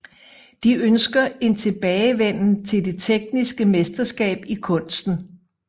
De ønsker en tilbagevenden til det tekniske mesterskab i kunsten